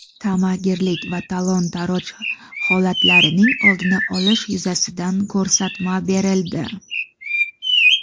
tamagirlik va talon-toroj holatlarining oldini olish yuzasidan ko‘rsatma berildi.